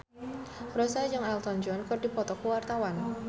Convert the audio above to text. Rossa jeung Elton John keur dipoto ku wartawan